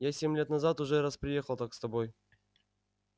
я семь лет назад уже раз приехал так с тобой